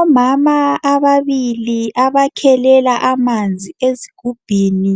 Omama ababili abakhelela amanzi ezigubhini